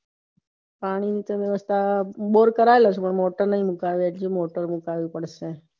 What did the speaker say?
પાણી ની વ્યવસ્થા bore કરાવ્યો છે પણ motor નહિ મુકવી એ મુકવી પડશે